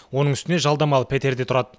оның үстіне жалдамалы пәтерде тұрады